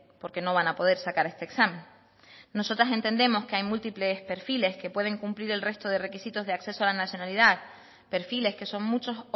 porque no van a poder sacar este examen nosotras entendemos que hay múltiples perfiles que pueden cumplir el resto de requisitos de acceso a la nacionalidad perfiles que son muchos